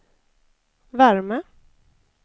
värme